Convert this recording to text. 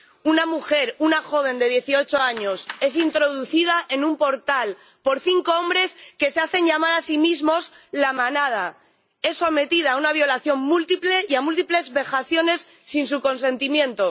Una mujer, una joven de 18 años, es introducida en un portal por cinco hombres que se hacen llamar a sí mismos La Manada, es sometida a una violación múltiple y a múltiples vejaciones sin su consentimiento.